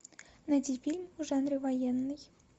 найди фильм в жанре военный